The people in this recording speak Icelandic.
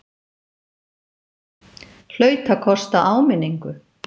Hlaut að kosta áminningu!